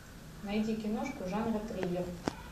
найди киношку жанра триллер